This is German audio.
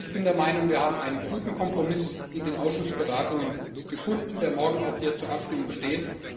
Ich bin der Meinung, wir haben einen guten Kompromiss in den Ausschussberatungen gefunden, der morgen hier zur Abstimmung steht.